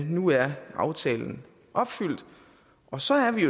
nu er aftalt opfyldt og så er vi